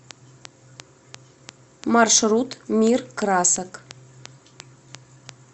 маршрут мир красок